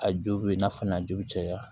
A jo bɛ i n'a fɔ n'a ju caya